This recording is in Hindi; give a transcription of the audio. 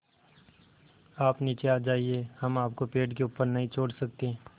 आप नीचे आ जाइये हम आपको पेड़ के ऊपर नहीं छोड़ सकते